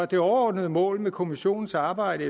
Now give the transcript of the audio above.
det overordnede mål med kommissionens arbejde